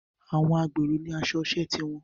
Àwọn agbèrò ní aṣọ iṣẹ́ ti wọn